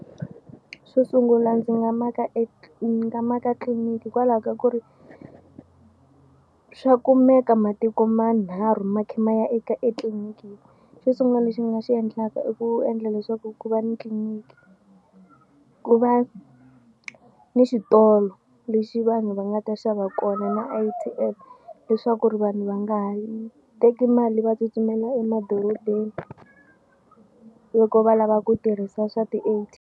Xo sungula ndzi nga maka ni nga maka tliliniki hikwalaho ka ku ri swa kumeka matiko manharhu ma khe ma ya eka etliliniki yin'we. Xo sungula lexi ni nga xi endlaka i ku endla leswaku ku va ni tliliniki ku va ni xitolo lexi vanhu va nga ta xava kona na A_T_M leswaku ri vanhu va nga ha teki mali va tsutsumela emadorobeni loko va lava ku tirhisa swa ti .